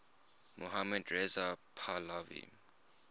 mohammad reza pahlavi